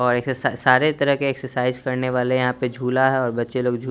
और एक्से सारे तरह के एक्सेसाईज करने वाले हैं यहाँ पे झुला हैं और बच्चे लोग झूल--